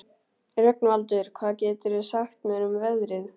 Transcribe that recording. Rögnvaldur, hvað geturðu sagt mér um veðrið?